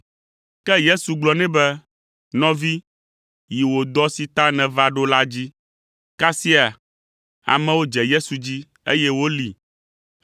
Ke Yesu gblɔ nɛ be, “Nɔvi, yi wò dɔ si ta nèva ɖo la dzi.” Kasia amewo dze Yesu dzi, eye wolée.